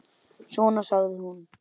Svona, sagði hún.